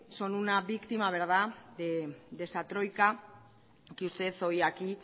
son una víctima de esa troika que usted hoy aquí